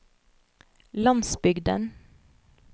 landsbygden